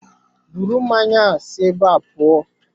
Bụrụ mmanya a si ébé a pụọ!